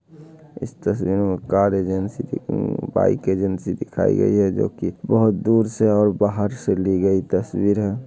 इस तस्वीर में कार एजेंसी की बाइक एजेंसी दिखाई गई है जो की बहुत दूर से और बाहर से ली गई तस्वीर है।